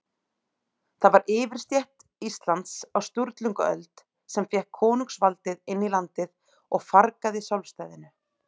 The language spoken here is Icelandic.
Það var yfirstétt Íslands á Sturlungaöld, sem fékk konungsvaldið inn í landið og fargaði sjálfstæðinu.